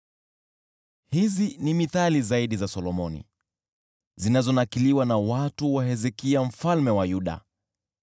Hizi ni mithali zaidi za Solomoni, zilizonakiliwa na watu wa Hezekia mfalme wa Yuda: